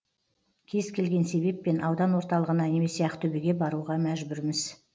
кез келген себеппен аудан орталығына немесе ақтөбеге баруға мәжбүрміз